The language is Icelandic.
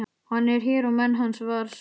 Hann er hér og menn hans, var svarað.